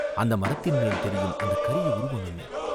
அந்த மரத்தின்மேல் தெரியும் அந்தக் கரிய உருவம் என்ன?